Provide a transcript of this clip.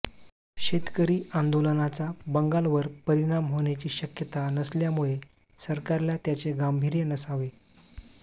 शेतकरी आंदोलनाचा बंगालवर परिणाम होण्याची शक्यता नसल्यामुळे सरकारला त्याचे गांभीर्य नसावे